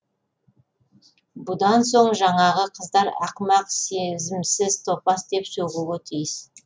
бұдан соң жаңағы қыздар ақымақ сезімсіз топас деп сөгуге тиіс